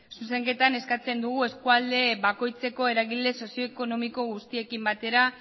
zuzenketan eskatzen dugu eskualde bakoitzeko eragile sozio ekonomiko guztiekin batera